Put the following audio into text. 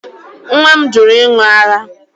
Nwa m jụrụ ịṅụ ara